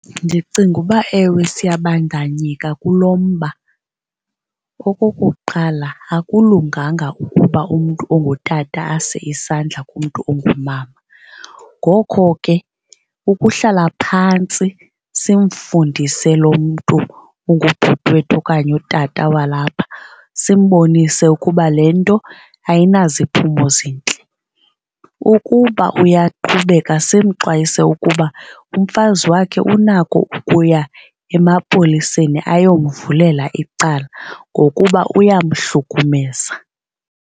Ndicinga uba ewe siyabandanyeka kulo mba. Okokuqala, akulunganga ukuba umntu ongutata ase isandla kumntu ongumama. Ngoko ke ukuhlala phantsi simfundise lo mntu ungubhuti wethu okanye utata walapha simbonise ukuba le nto ayinaziphumo zintle. Ukuba uyaqhubeka simxwayise ukuba umfazi wakhe unako ukuya emapoliseni ayomvulela icala ngokuba uyamhlukumeza.